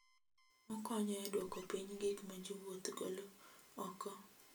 Okonyo e duoko piny gik ma jowuoth golo oko.